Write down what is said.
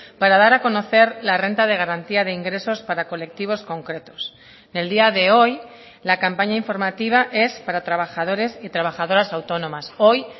para dar a conocer la renta de garantía de ingresos para colectivos concretos el día de hoy la campaña informativa es para trabajadores y trabajadoras autónomas hoy